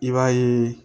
I b'a ye